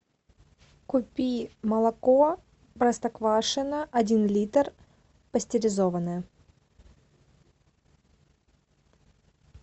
купи молоко простоквашино один литр пастеризованное